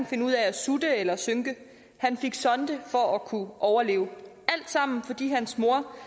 finde ud af at sutte eller synke han fik sondemad for at kunne overleve alt sammen fordi hans mor